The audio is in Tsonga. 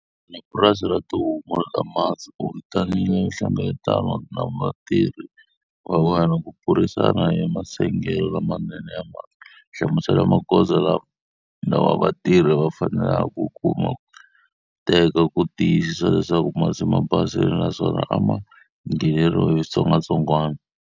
U na purasi ra tihomu ta masi. U vitanile nhlengeletano na vatirhi va wena ku burisana hi masengelo lamanene ya masi. Hlamusela magoza lawa vatirhi va faneleke ku ma teka ku tiyisisa leswaku masi ma basile naswona a ma ngheneriwi hi switsongwatsongwana.